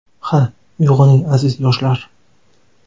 Ha, uyg‘oning aziz yoshlar!